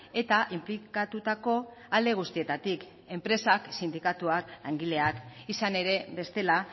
eta inplikatutako alde guztietatik enpresak sindikatuak langileak izan ere bestela